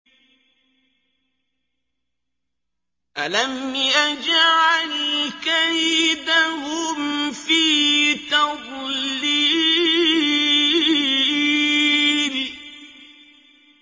أَلَمْ يَجْعَلْ كَيْدَهُمْ فِي تَضْلِيلٍ